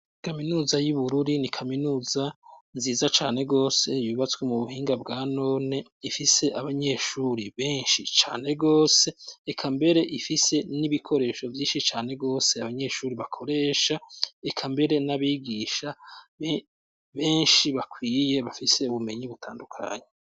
ikaminuza y'ubururi ni kaminuza nziza cane gose yubatswe mu buhinga bwa none ifise abanyeshuri benshi cane gose ekambere ifise n'ibikoresho byinshi cane gose abanyeshuri bakoresha ekambere n'abigisha benshi bakwiye bafise ubumenyi y'ubutandukanyi